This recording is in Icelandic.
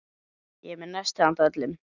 Ég er með nesti handa öllum.